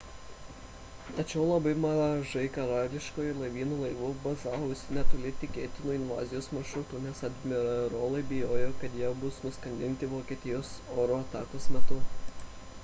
tačiau labai mažai karališkojo laivyno laivų bazavosi netoli tikėtinų invazijos maršrutų nes admirolai bijojo kad jie bus nuskandinti vokietijos oro atakos metu